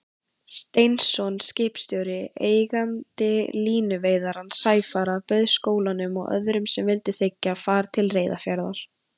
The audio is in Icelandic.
Steinsson skipstjóri, eigandi línuveiðarans Sæfara, bauð skólanum og öðrum sem vildu þiggja, far til Reyðarfjarðar.